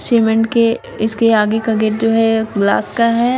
Cement के इसके आगे का गेट जो है ग्लास का है।